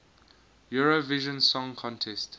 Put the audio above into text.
eurovision song contest